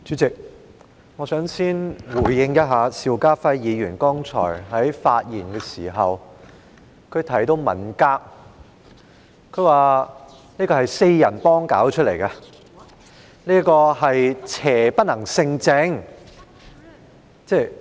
主席，我想先回應一下邵家輝議員剛才的發言，他提到文革是"四人幫"搞出來的，又說邪不能勝正。